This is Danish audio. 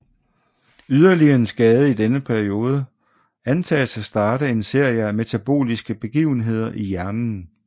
Yderligere en skade i denne periode antages at starte en serie af metaboliske begivenheder i hjernen